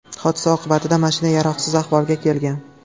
Hodisa oqibatida mashina yaroqsiz ahvolga kelgan.